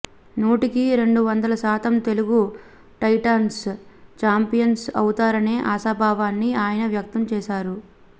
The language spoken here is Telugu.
నూటికి రెండు వందల శాతం తెలుగు టైటాన్స్ ఛాంపియన్స్ అవుతారనే ఆశాభావాన్ని ఆయన వ్యక్తం చేశారు